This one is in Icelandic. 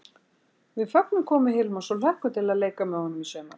Við fögnum komu Hilmars og hlökkum til að leika með honum í sumar!